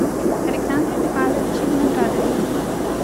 александре михайловиче виноградове